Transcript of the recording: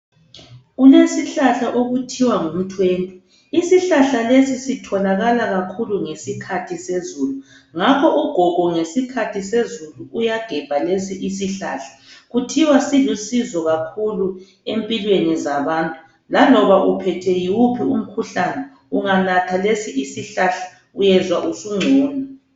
Kulesihlahla okuthiwa ngumthwentwe. Isihlahla lesi sitholakala kakhulu ngesikhathi sezulu. Ngakho ugogo ngesikhathi sezulu uyagebha lesi isihlahla. Kuthiwa silusizo kakhulu empilweni zabantu. Laloba uphethwe yiwuphi umkhuhlane unganatha lesi isihlahla uyezwa usungcono.